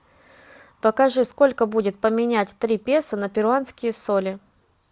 покажи сколько будет поменять три песо на перуанские соли